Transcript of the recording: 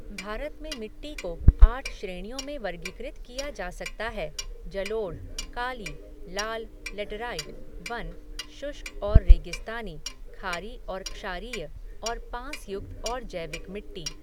भारत में मिट्टी को आठ श्रेणियों में वर्गीकृत किया जा सकता हैः जलोढ़, काली, लाल, लेटराइट, वन, शुष्क और रेगिस्तानी, खारी और क्षारीय और पाँसयुक्त और जैविक मिट्टी।